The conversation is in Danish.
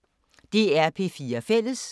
DR P4 Fælles